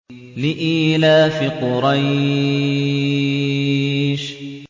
لِإِيلَافِ قُرَيْشٍ